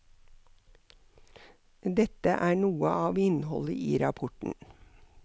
Dette er noe av innholdet i rapporten.